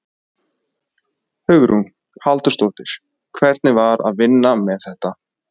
Hugrún Halldórsdóttir: Hvernig er að vinna með þetta?